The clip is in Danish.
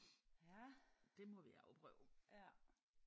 Det må vi afprøve